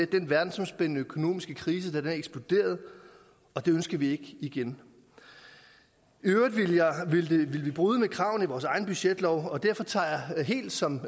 den verdensomspændende økonomiske krise eksploderede og det ønsker vi ikke igen i øvrigt ville vi bryde kravene i vores egen budgetlov derfor tager jeg det helt som